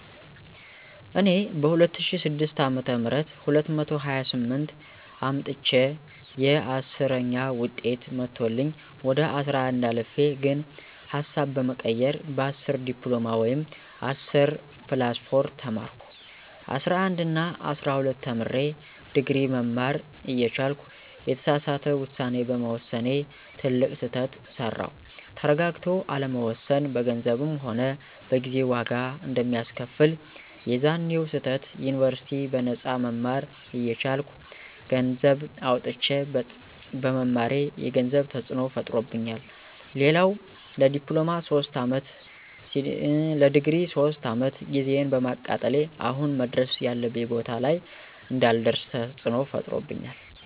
እኔ በ2006 አ /ም 228 አምጥቸየ 10ዉጤት መቶልኝ ወደ 11 አልፌ ግን ሀሳብ በመቀየር በ10 ዲፕሎማ ወይም10+4 ተማርኩ። 11እና 12ተምሬ ድግሪ መማር እየቻልኩ የተሳሳተ ዉሳኔ በመወሰኔ ትልቅ ስህተት ሰራዉ። ተረጋግቶ አለመወሰን በገንዘብም ሆነ በጊዜ ዋጋ አንደሚያስከፍል፦ የዛኔዉ ስህተት ዩኒበርሲቲ በነጳ መማር እየቻልኩ ገነሰዘብ አዉጥቸ በመማሬ የገንዘብ ተፅዕኖ ፈጥሮብኛል፣ ሌላዉ ለዲፕሎማ 3 አመት+ለድግሪ 3 አመት ጊዜየን በማቃጠሌ አሁን መድረስ ያለብኝ ቦታ ላይ እንዳልደርሰ ተፅዕኖ ፈጥሮብኛል